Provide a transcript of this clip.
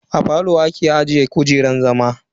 A falo ake ajiye kujerun zama.